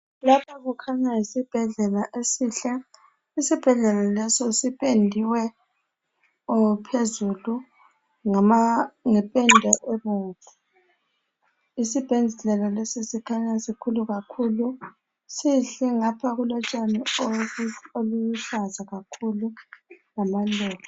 Lapha kukhanya yisibhedlela esihle isibhedlela lesi sipendiwe phezulu ngependa ebomvu isibhedlela lesi sikhanya sikhulu kakhulu sihle ngapha kulotshani obuluhlaza kakhulu lamaluba.